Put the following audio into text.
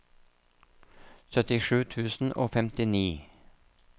syttisju tusen og femtini